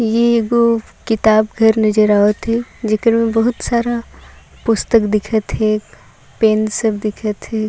ए एगो किताब घर नजर आवत है लेकिन बहुत सारा पुस्तक दिखत है पेन सब दिखत है।